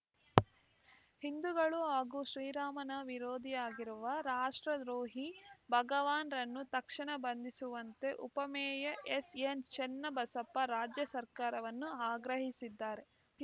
ಹಿಂದೂಗಳು ಹಾಗೂ ಶ್ರೀರಾಮನ ವಿರೋಧಿಯಾಗಿರುವ ರಾಷ್ಟ್ರದ್ರೋಹಿ ಭಗವಾನ್‌ರನ್ನು ತಕ್ಷಣ ಬಂಧಿಸುವಂತೆ ಉಪಮೇಯರ್‌ ಎಸ್‌ಎನ್‌ ಚನ್ನಬಸಪ್ಪ ರಾಜ್ಯಸರ್ಕಾರವನ್ನು ಆಗ್ರಹಿಸಿದ್ದಾರೆ